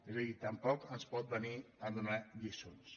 és a dir tampoc ens pot venir a donar lliçons